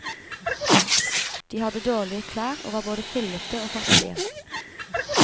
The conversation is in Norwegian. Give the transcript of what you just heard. De hadde dårlige klær og var både fillete og fattige.